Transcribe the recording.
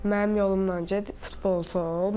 Mənim yolumla get, futbolçu ol.